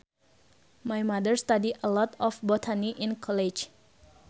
My mother study a lot of botany in college